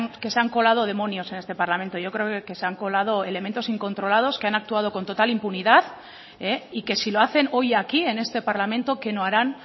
que se han colado demonios en este parlamento yo creo que se han colado elementos incontrolados que han actuado con total impunidad y que si lo hacen hoy aquí en este parlamento qué no harán